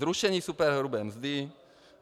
Zrušení superhrubé mzdy.